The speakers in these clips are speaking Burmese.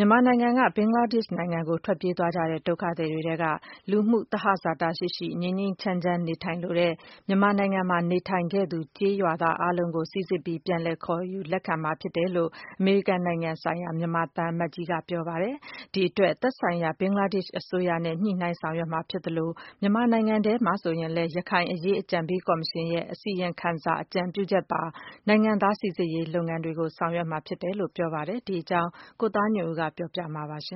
မြန်မာနိုင်ငံက ဘင်္ဂလားဒေ့ရ်ှနိုင်ငံကို ထွက်ပြေးသွားကြတဲ့ ဒုက္ခသည်တွေထဲက လူမှုသဟာဇာတရှိရှိ ငြိမ်းငြိမ်းချမ်းချမ်းနေထိုင်လိုတဲ့ မြန်မာနိုင်ငံမှာ နေထိုင်ခဲ့သူ ကျေးရွာသားတွေအားလုံးကို စီစစ်ပြီး ပြန်လည် လက်ခံ ခေါ်ယူမှာဖြစ်တယ်လို့ အမေရိကန်နိုင်ငံဆိုင်ရာ မြန်မာသံအမတ်ကြီးက ပြောလိုက်ပါတယ်။ ဒီအတွက် သက်ဆိုင်ရာ ဘင်္ဂလားဒေ့ရ်ှအစိုးရနဲ့ ညှိုနှိုင်းဆောင်ရွက်မှာဖြစ်သလို၊ မြန်မာနိုင်ငံထဲမှာဆိုရင်လည်း ရခိုင်အရေးအကြံပေးကော်မရှင်ရဲ့ အစီရင်ခံစာအကြံပြုချက်ပါ နိုင်ငံသားစီစစ်ရေးလုပ်ငန်းစဉ်တွေကို ဆောင်ရွက်မှာဖြစ်တယ်လို့ ပြောပါတယ်။ ဒီအကြောင်း ကိုသားညွန့်ဦးက ပြောပြမှာပါ။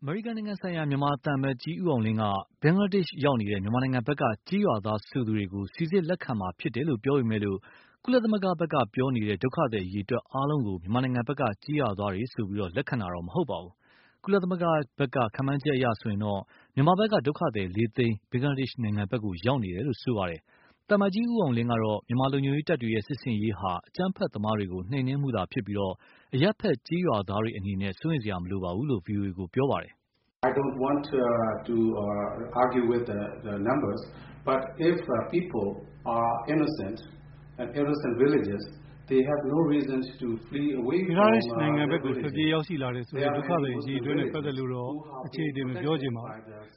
အမေရိကန်နိုင်ငံဆိုင်ရာ မြန်မာသံအမတ်ကြီး ဦးအောင်လင်းက ဘင်္ဂလားဒေ့ရ်ှရောက်နေတဲ့ မြန်မာနိုင်ငံဖက်ကကျေးရွာသားဆိုသူတွေကို စီစစ်လက်ခံမှာ ဖြစ်တယ်လို့ ပြောပေမယ့်၊ ကုလသမဂ္ဂဖက်ကပြောနေတဲ့ ဒုက္ခသည်အရည်အတွက်အားလုံးကို မြန်မာနိုင်ငံဖက်က ကျေးရွာသားတွေဆိုပြီး လက်ခံတာတော့ မဟုတ်ပါဘူး။ ကုလသမဂ္ဂရဲ့ ခန့်မှန်းချက်တွေအရတော့ မြန်မာဖက်က ဒုက္ခသည် လေးသိန်း ဘင်္ဂလားဒေ့်ရ်ှနိုင်ငံဖက် ရောက်နေတယ်လို့ ဆိုပါတယ်။ သံအမတ်ကြီး ဦးအောင်လင်းကတော့ မြန်မာလုံခြုံရေးတပ်တွေရဲ့စစ်ဆင်ရေးဟာ အကြမ်းဖက်သမားတွေကို နှိမ်နင်းမှုသာဖြစ်ပြီး၊ အရပ်ဖက် ကျေးရွာသားတွေအနေနဲ့ စိုးရိမ်စရာမလိုဘူးလို့ ဗွီအိုအေကို ပြောခဲ့ပါတယ်။ "ဘင်္ဂလားဒေ့ရ်ှကို ထွက်ပြေးရောက်ရှိလာတယ်ဆိုတဲ့ ဒုက္ခသည်အရည်အတွက်နဲ့ပတ်သက်လို့တော့ အချေအတင်မပြောချင်ပါဘူး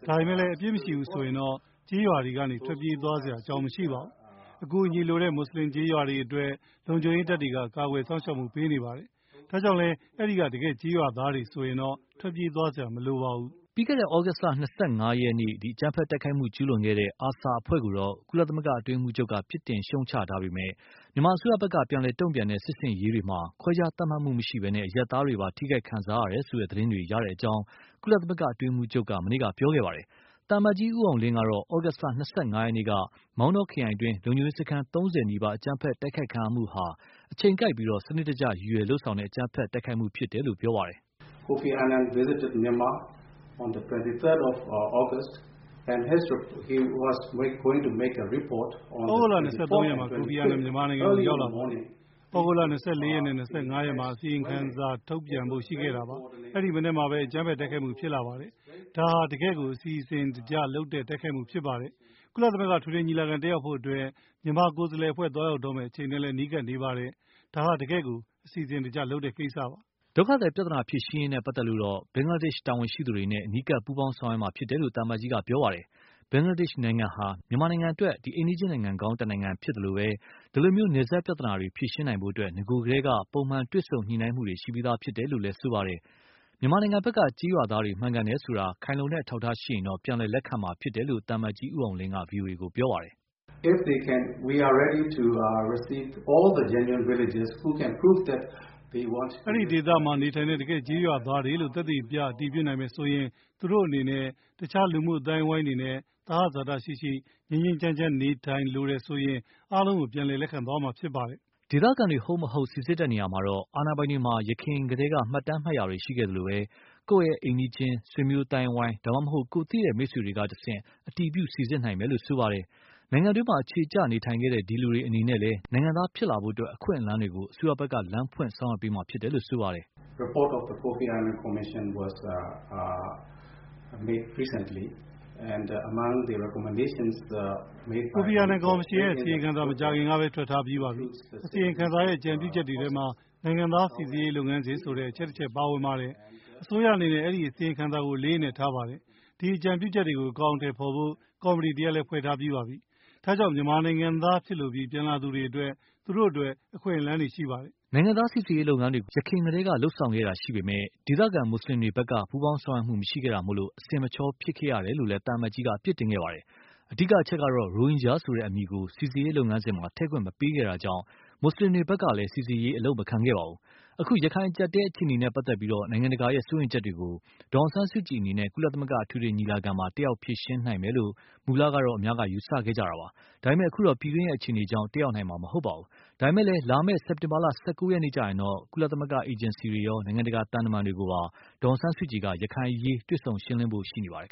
။ ဒါပေမယ့်လည်းအပြစ်မရှိဘူးဆိုရင်တော့ ကျေးရွာတွေကနေ ထွက်ပြေးသွားစရာ အကြောင်းမရှိပါဘူး။ အကူအညီလိုတဲ့ မွတ်ဆလင်ကျေးရွာတွေအတွက် လုံခြုံရေးတပ်တွေက ကာကွယ်စောင့်ရှောက်မှုပေးပါတယ်။ ဒါကြောင့်လည်း အဲဒီက တကယ့်ကျေးရွာသားတွေဆိုရင်တော့ ထွက်ပြေးသွားစရာမလိုပါဘူး။" ပြီးခဲ့တဲ့ သြဂုတ်လ ၂၅ရက် အကြမ်းဖက်တိုက်ခိုက်မှု ကျူးလွန်ခဲ့တဲ့ ARSA အဖွဲ့ကို ကုလသမဂ္ဂအတွင်းရေးမှုးချုပ်က ပြစ်တင်ရှုတ်ချထားပေမယ့်၊ မြန်မာအစိုးရဖက်က ပြန်လည် တုန့်ပြန်တဲ့ စစ်ဆင်ရေးတွေဟာ ခွဲခြားသတ်မှတ်မှုမရှိပဲ အရပ်သားတွေပါ ထိခိုက်ခံစားရတယ်ဆိုတဲ့ သတင်းတွေ ရတဲ့အကြောင်း ကုလသမဂ္ဂ အတွင်းရေးမှုးချုပ်က မနေ့က ပြောခဲ့ပါတယ်။ သံအမတ်ကြီး ဦးအောင်လင်းကတော့ သြဂုတ်လ ၂၅ ရက်နေ့က မောင်တောခရိုင်အတွင်း လုံခြုံရေးစခန်း ၃၀ နီးပါး အကြမ်းဖက်တိုက်ခိုက်ခံရမှုဟာ အချိန်ကိုက်ပြီး စနစ်တကျ ရည်ရွယ်လုပ်ဆောင်တဲ့ အကြမ်းဖက်တိုက်ခိုက်မှုဖြစ်တယ်လို့ ပြောပါတယ်။ "သြဂုတ်လ ၂၃ မှာ ကိုဖီအာနန် မြန်မာနိုင်ငံကို ရောက်လာပါတယ်။ သြဂုတ် ၂၄ နဲ့ ၂၅ မှာ အစီရင်ခံစာထုတ်ပြန်ဖို့ရှိတယ်။ အဲဒီ မနက်မှာပဲ အကြမ်းဖက်တိုက်ခိုက်မှုဖြစ်လာတယ်။ ဒါဟာ တကယ့်ကို အစီအစဉ်တကျလုပ်တဲ့ တိုက်ခိုက်မှုဖြစ်ပါတယ်။ ကုလသမဂ္ဂအထွေထွေညီလာခံ တတ်ရောက်ဖို့အတွက် မြန်မာကိုယ်စားလှယ်အဖွဲ့ သွားရောက်တော့မယ့် အချိန်နဲ့လည်း နီးကပ်နေပါတယ်။ ဒါက တကယ့်ကို အစီအစဉ်တကျလုပ်တဲ့ကိစ္စပါ။" ဒုက္ခသည်ပြဿနာဖြေရှင်းရေးနဲ့ပတ်သက်လို့တော့ ဘင်္ဂလားဒေ့ရှ်တာဝန်ရှိသူတွေနဲ့ အနီးကပ် ပူးပေါင်းဆောင်ရွက်မှာဖြစ်တယ်လို့ သံအမတ်ကြီးက ပြောပါတယ်။ ဘင်္ဂလားဒေ့ရ်ှနိုင်ငံဟာ မြန်မာ အိမ်နီးချင်းနိုင်ငံကောင်းတနိုင်ငံဖြစ်သလို၊ ဒီလို နယ်စပ်ပြဿနာတွေ ဖြေရှင်းနိုင်ဖို့ နဂိုကတည်း ပုံမှန်တွေ့ဆုံညှိနှိုင်းမှုတွေ ရှိပြီးသားဖြစ်တယ်လို့လည်း ပြောပါတယ်။ မြန်မာဖက်က ကျေးရွာသားတွေ မှန်ကန်တယ်ဆိုတာ ခိုင်လုံတဲ့အထောက်အထားရှိရင် ပြန်လည် လက်ခံမှာဖြစ်တယ်လို့ သံအမတ်ကြီး ဦးအောင်လင်းက ဗွီအိုအေကို ပြောပါတယ်။ "အဲဒီဒေသမှာနေထိုင်တဲ့ တကယ့်ကျေးရွာသားတွေလို့ သက်သေပြ အတည်ပြုနိုင်ရင် သူတို့အနေနဲ့ အခြားလူမှုအသိုင်းအဝိုင်းတွေနဲ့ သဟဇာတရှိရှိ ငြိမ်းငြိမ်းချမ်းချမ်းနေထိုင်လိုတယ်ဆိုရင် အားလုံးကို ပြန်လည်လက်ခံသွားမှာဖြစ်ပါတယ်။" ဒေသခံတွေ ဟုတ်မဟုတ် စီစစ်ရာမှာတော့ အာဏာပိုင်တွေမှာ ယခင်မှတ်တမ်းမှတ်ရာတွေ ရှိခဲ့သလိုပဲ၊ ကိုယ့်အိမ်နီးချင်း ဆွေမျိုးအသိုင်းအဝိုင်း ဒါမှမဟုတ် ကိုယ့်သိတဲ့ မိတ်ဆွေတွေကတဆင့် အတည်ပြု စီစစ်နိုင်မယ်လို့ ပြောပါတယ်။ နိုင်ငံတွင်း အခြေကျနေထိုင်ခဲ့တဲ့ ဒီလူတွေအနေနဲ့လည်း နိုင်ငံသားဖြစ်လာဖို့ အခွင့်အလမ်းတွေကို အစိုးရက လမ်းဖွင့် ဆောင်ရွက်ပေးမှာဖြစ်တယ်လို့ လည်း ဆိုပါတယ်။ "ကိုဖီအာာနန်ကော်မရှင်ရဲ့ အစီရင်ခံစာမကြာခင်ကပဲ ထွက်ထားပါပြီ။ အစီရင်ခံစာရဲ့ အကြံပြုချက်တွေထဲမှာ နိုင်ငံသားစီစစ်ရေးလုပ်ငန်းစဉ်ဆိုတဲ့ အချက်တချက်ပါဝင်ပါတယ်။ အစိုးရအနေနဲ ဒီအစီရင်ခံစာကို အလေးအနက်ထားပါတယ်။ ဒီ အကြံပြုချက်တွေကို အကောင်အထည်ဖော်ဖို့ ကော်မတီတရပ်လည်း ဖွဲ့ထားပါပြီ။ ဒါကြောင့် မြန်မာနိုင်ငံသားဖြစ်လိုပြီး ပြန်လာသူတွေအတွက် သူတို့အတွက် အခွင့်အလမ်းတွေရှိပါတယ်။" နိုင်ငံသားစီစစ်ရေးလုပ်ငန်းတွေကို ယခင်ကတည်းက လုပ်ဆောင်ခဲ့တာရှိပေမယ့်၊ ဒေသခံ မွတ်ဆလင်တွေဖက် ပူးပေါင်းဆောင်ရွက်မှု မရှိခဲ့တာမို့ အဆင်မချောဖြစ်ခဲ့ရတယ်လို့လည်း သံအမတ်ကြီးက အပြစ်တင်ခဲ့ပါတယ်။ အဓိကအချက်ကတော့ ရိုဟင်ဂျာဆိုတဲ့ အမည်ကို စီစစ်ရေးလုပ်ငန်းစဉ်မှာ ထည့်ခွင့်မပေးခဲ့တာကြောင့် မွတ်ဆလင်တွေဖက်ကလည်း စီစစ်ရေး အလုပ်မခံခဲ့ပါဘူး။အခု ရခိုင်အကြပ်အတည်းအခြေအနေနဲ့ပတ်သက်ပြီး နိုင်ငံတကာရဲ့ စိုးရိမ်ချက်တွေကို ဒေါ်အောင်ဆန်းစုကြည်အနေနဲ့ ကုလသမဂ္ဂ အထွေထွေညီလာခံမှာ တတ်ရောက်ဖြေရှင်းနိုင်မယ်လို့ မူလက ယူဆခဲ့ကြတာပါ။ ဒါပေမယ့် အခုတော့ ပြည်တွင်းအခြေအနေကြောင့် တတ်ရောက်နိုင်တော့မှာမဟုတ်ပါဘူး။ ဒါပေမယ့်လည်း လာမယ့် စက်တင်ဘာ ၁၉ ရက်နေ့ ကျရင်တော့ ကုလသမဂ္ဂ အေဂျင်စီတွေရော နိုင်ငံတကာသံတမန်တွေနဲ့ပါ ဒေါ်အောင်ဆန်းစုကြည်က ရခိုင်အရေး တွေ့ဆုံရှင်းလင်းဖို့ ရှိနေပါတယ်